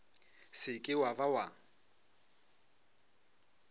se ke wa ba wa